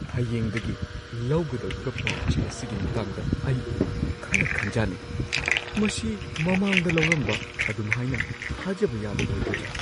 ꯍꯌꯦꯡꯗꯒꯤ ꯂꯧꯒꯗꯧꯔꯤꯕ ꯄꯥꯎ-ꯆꯦ ꯑꯁꯤꯒꯤ ꯃꯇꯥꯡꯗ ꯑꯩ ꯈꯔ ꯈꯟꯖꯥꯟꯅꯩ ꯫ ꯃꯁꯤ ꯃꯃꯥꯡꯗ ꯂꯧꯔꯝꯕ ꯑꯗꯨꯝꯍꯥꯏꯅ ꯊꯥꯖꯕ ꯌꯥꯕ ꯑꯣꯏꯒꯗ꯭ꯔꯥ?